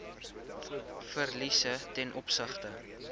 verliese ten opsigte